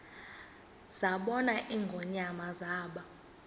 zabona ingonyama zaba